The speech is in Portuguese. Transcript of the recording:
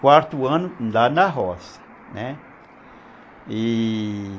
Quarto ano lá na roça, né, e